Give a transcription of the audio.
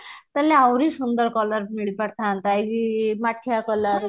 ତାହେଲେ ଆହୁରି ସୁନ୍ଦର color ମିଳିପାରିଥାନ୍ତା ଏ ଯୋଉ ମାଠିଆ color